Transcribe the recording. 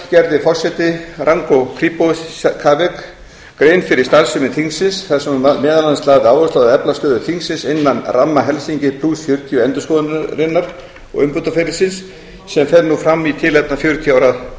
gerði forsetinn ranko krivokapic grein fyrir starfsemi þingsins þar sem hann meðal annars lagði áherslu á að efla stöðu þingsins innan ramma helsinki fjörutíu endurskoðunar og umbótaferlisins sem fer nú fram í tilefni fjörutíu ára